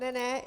Ne ne.